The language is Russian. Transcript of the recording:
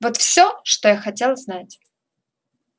вот всё что я хотел знать